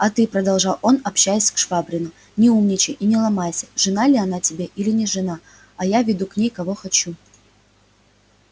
а ты продолжал он общаясь к швабрину не умничай и не ломайся жена ли она тебе или не жена а я веду к ней кого хочу